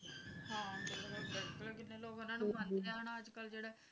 ਬੱਚਾ ਚਲਾ ਗਿਆ ਸੀ